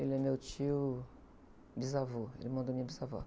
Ele é meu tio bisavô, irmão da minha bisavó.